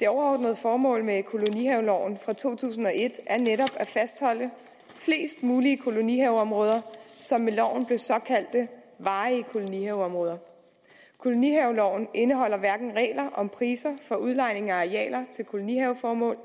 det overordnede formål med kolonihaveloven fra to tusind og et er netop at fastholde flest mulige kolonihaveområder som med loven blev såkaldte varige kolonihaveområder kolonihaveloven indeholder hverken regler om priser for udlejning af arealer til kolonihaveformål